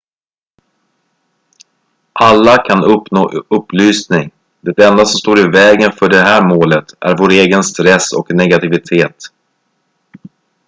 alla kan uppnå upplysning det enda som står i vägen för det här målet är vår egen stress och negativitet